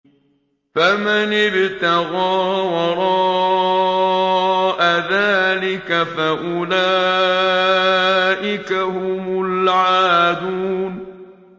فَمَنِ ابْتَغَىٰ وَرَاءَ ذَٰلِكَ فَأُولَٰئِكَ هُمُ الْعَادُونَ